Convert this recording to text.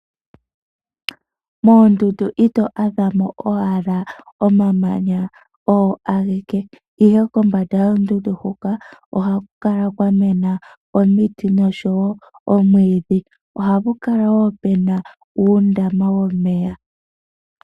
Moondundu ito adhamo owala omamanya ogo ageke, ihe kombanda yoondundu hoka ohaku kala kwa mena omiti nosho wo omwiidhi. Ohapu kala wo puna uundama womeya.